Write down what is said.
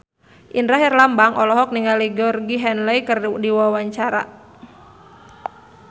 Indra Herlambang olohok ningali Georgie Henley keur diwawancara